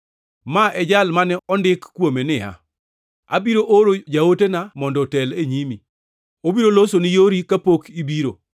Ma e jal mane ondik kuome niya, “ ‘Abiro oro jaotena mondo otel e nyimi, obiro losoni yori kapok ibiro.’ + 11:10 \+xt Mal 3:1\+xt*